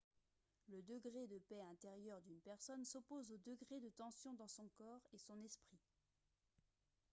le degré de paix intérieure d'une personne s'oppose au degré de tension dans son corps et son esprit